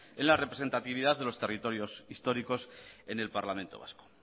en la representatividad de los territorios históricos en el parlamento vasco